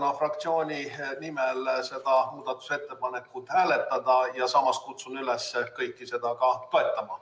Palun fraktsiooni nimel seda muudatusettepanekut hääletada ja samas kutsun üles kõiki seda toetama.